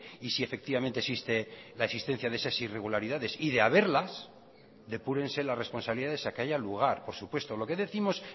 y si efectivamente existe la existencia de esas irregularidades y de haberlas depúrense las responsabilidades a que haya lugar por supuesto lo que décimos